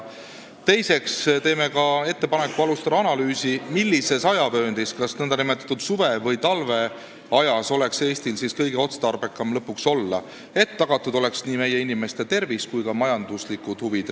Teiseks teeme ettepaneku alustada analüüsi, millises ajavööndis, kas nn suve- või talveajas, oleks Eestil kõige otstarbekam olla, et tagatud oleks nii meie inimeste tervis kui ka riigi majanduslikud huvid.